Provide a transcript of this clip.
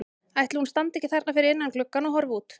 Ætli hún standi ekki þarna fyrir innan gluggann og horfi út?